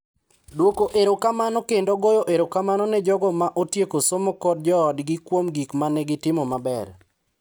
Dwoko erokamano kendo goyo erokamano ne jogo ma otieko somo kod joodgi kuom gik ma ne gitimo maber.